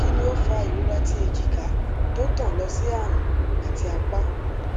kini o fa irora ti ejika to tan lo si arun ati apa